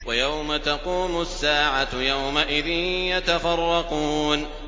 وَيَوْمَ تَقُومُ السَّاعَةُ يَوْمَئِذٍ يَتَفَرَّقُونَ